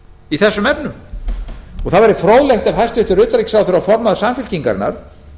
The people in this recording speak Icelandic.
í þessum efnum það væri fróðlegt ef hæstvirtur utanríkisráðherra og formaður samfylkingarinnar